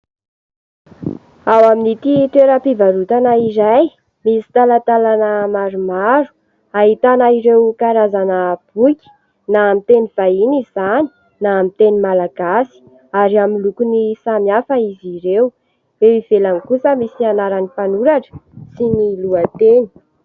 Ao amin'ity toeram-pivarotana iray misy talatalana maromaro ahitana ireo karazana boky na amin'ny teny vahiny izany na amin'ny teny malagasy ary amin'ny lokony samihafa izy ireo. Eo ivelany kosa misy anaran'ny mpanoratra sy ny lohateny.